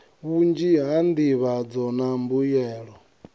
vhunzhi ha nḓivhadzo na mbuyelo